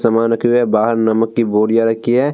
सामन रखी हुई है बाहर नमक की बोरियाँ रखी है |